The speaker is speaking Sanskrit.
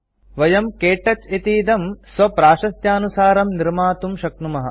वयं के टच इतीदं स्वप्राशस्त्यानुसारं निर्मातुं शक्नुमः